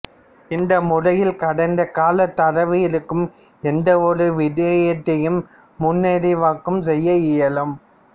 இந்த முறையில் கடந்த கால தரவு இருக்கும் எந்த ஒரு விடயத்தையும் முன்னறிவாக்கம் செய்ய இயலும்